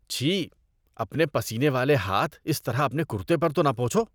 چھی۔ اپنے پسینے والے ہاتھ اس طرح اپنے کُرتے پر تو نہ پونچھو۔